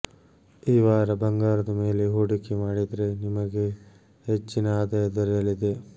ಈ ವಾರ ಬಂಗಾರದ ಮೇಲೆ ಹೊಡಿಕೆ ಮಾಡಿದ್ರೆ ನಿಮಗೆ ಹೆಚ್ಚಿನ ಆದಾಯ ದೊರಯಲಿದೆ